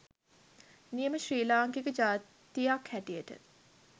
නියම ශ්‍රී ලාංකික ජාතියක් හැටියට